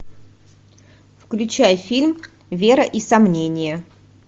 включай фильм вера и сомнение